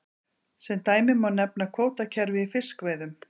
Sem dæmi má nefna kvótakerfi í fiskveiðum.